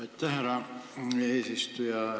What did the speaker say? Aitäh, härra eesistuja!